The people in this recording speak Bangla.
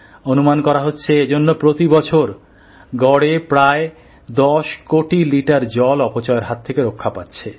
অনুমান করা হচ্ছে এজন্য প্রতি বছর গড়ে প্রায় ১০কোটি লিটার জল অপচয়ের হাত থেকে রক্ষা পাচ্ছে